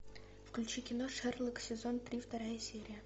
включи кино шерлок сезон три вторая серия